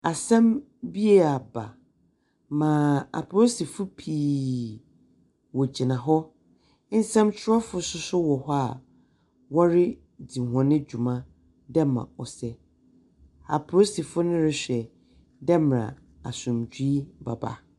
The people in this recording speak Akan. Asɛm bi aba ma apolisifo pii wogyina hɔ. Nsɛnkyerɛwfo so gyina hɔ a woridzi hɔn dwuma dɛ mbrɛ ɔsɛ. Apolisifo no rohwɛ dɛ mbrɛ asomdwee bɛba.